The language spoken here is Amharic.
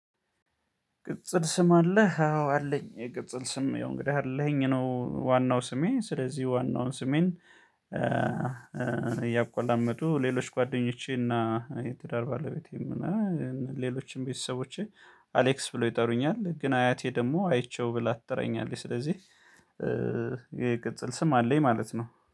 ቅጽል ስም አለህ? አዎ አለኝ የቅጽል ስም የሆነ እንግዳ አለኸኝ ነው። ዋናው ስሜ ስለዚህ ዋናውን ስሜን እያቋላመጡ ሌሎች ጓደኞቼና የትዳር ባለቤቴም እና ሌሎችም ቤተሰቦቼ አሌክስ ብሎ ይጠሩኛል። ግን አያቴ ደግሞ አይቼው ብላ ትጠራኛለች። ስለዚህ የቅጽል ስም አለኝ ማለት ነው